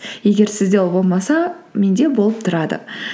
егер сізде ол болмаса менде болып тұрады